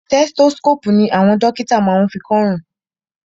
Stethoscopu ní àwọn dókítà má ń fí kọ ọrùn.